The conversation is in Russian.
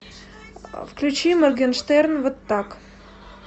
включи моргенштерн вот так